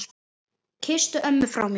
Kysstu ömmu frá mér.